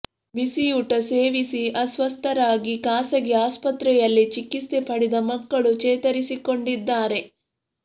ಬಿಸಿಯೂಟ ಸೇವಿಸಿ ಅಸ್ವಸ್ಥರಾಗಿ ಖಾಸಗಿ ಅಸ್ಪತ್ರೆಯಲ್ಲಿ ಚಿಕಿತ್ಸೆ ಪಡೆದ ಮಕ್ಕಳು ಚೇತರಿಸಿಕೊಂಡಿದ್ದಾರೆ